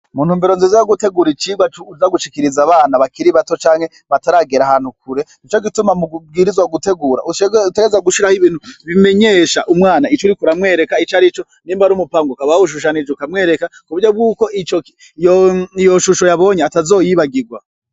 Mu ntumbero nziza yo gutera icigwa co uza gushikiriza abana bakiri bato canke bataregara ahantu kure nico gituma ubwirizwa gutegura utegerezwa gushiraho ibintu bimenyesha umwana ico uriko uramwereka icarico nimba ari umupanga ukaba wawushushanije ukamwereka ku buryo bw'uko iyo shusho yabonye atazoyibagirwa.